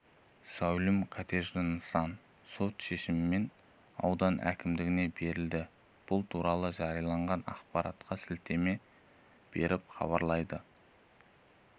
зәулім коттежд нысан сот шешімімен аудан әкімдігіне берілді бұл туралы жариялаған ақпаратқа сілтеме беріп хабарлайды